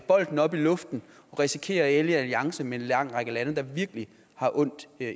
bolden op i luften og risikerer at ende i alliance med en lang række lande der virkelig har ondt